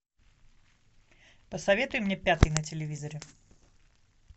посоветуй мне пятый на телевизоре